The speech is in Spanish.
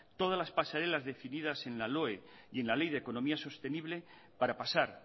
todas las pasarelas decididas en la loe y en la ley de economía sostenible para pasar